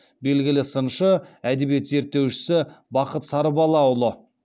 белгілі сыншы әдебиет зерттеушісі бақыт сарыбалаұлы